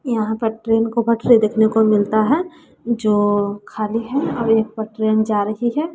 यहां पर ट्रेन को पटरी देखने को मिलता है जो खाली है और एक पर ट्रेन जा रही है।